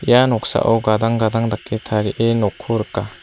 ia noksao gadang gadang dake tarie nokko rika.